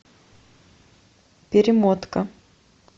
перемотка